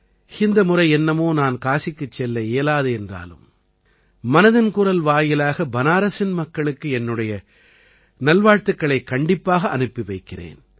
இந்த முறை என்னமோ நான் காசிக்குச் செல்ல இயலாது என்றாலும் மனதின் குரல் வாயிலாக பனாரஸின் மக்களுக்கு என்னுடைய நல்வாழ்த்துக்களைக் கண்டிப்பாக அனுப்பி வைக்கிறேன்